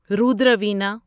Rudra Veena